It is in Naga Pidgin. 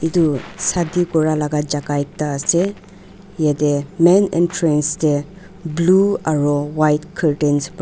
Etu shadi kura laga jaka ekta ase yatheh main entrance dae blue aro white curtains para--